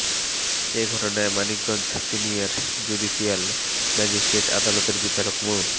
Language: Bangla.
এ ঘটনায় মানিকগঞ্জ সিনিয়র জুডিসিয়াল ম্যাজিস্ট্রেট আদালতের বিচারক মো